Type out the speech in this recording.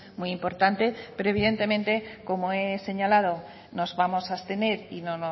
muy importante pero evidentemente como he señalado nos vamos a abstener y no